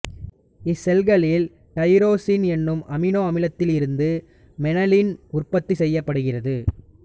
இச்செல்களில் tyrosine எனும் amino அமிலத்திலிருந்து melanin உற்பத்தி செய்யப்படுகிறது